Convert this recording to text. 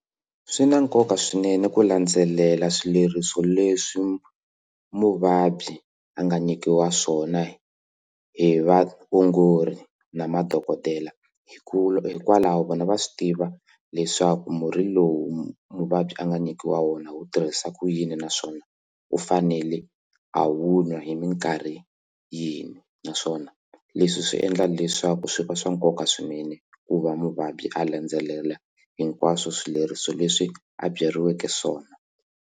Swi na nkoka swinene ku landzelela swileriso leswi muvabyi a nga nyikiwa swona hi vaongori na madokodela hikuva hikwalaho vona va swi tiva leswaku murhi lowu muvabyi a nga nyikiwa wona wu tirhisa ku yini naswona u fanele a wu nwa hi mikarhi yini naswona leswi swi endla leswaku swi va swa nkoka swinene ku va muvabyi a landzelela hinkwaswo swileriso leswi a byeriweke swona.